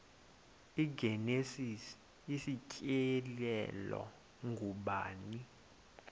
igenesis isityhilelo ngubani